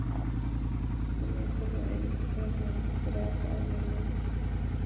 Þið megið koma inn, sagði hann grafalvarlegur.